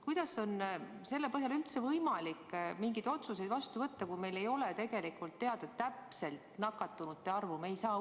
Kuidas on üldse võimalik mingeid otsuseid vastu võtta, kui meil ei ole teada täpset nakatunute arvu?